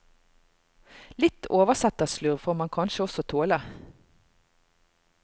Litt oversetterslurv får man kanskje også tåle.